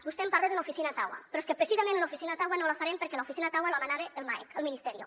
vostè em parla d’una oficina a ottawa però és que precisament una oficina a ottawa no la farem perquè l’oficina a ottawa la manava el maec el ministerio